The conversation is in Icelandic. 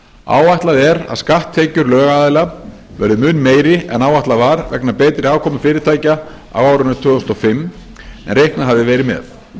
áætlað er að skatttekjur lögaðila verði mun meiri en áætlað var vegna betri afkomu fyrirtækja á árinu tvö þúsund og fimm en reiknað hafði verið með